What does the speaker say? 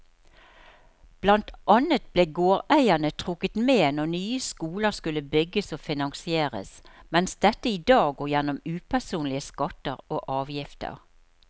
Blant annet ble gårdeierne trukket med når nye skoler skulle bygges og finansieres, mens dette i dag går gjennom upersonlige skatter og avgifter.